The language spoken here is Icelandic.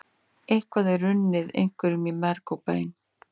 Eitthvað er runnið einhverjum í merg og bein